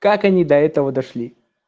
как они до этого дошли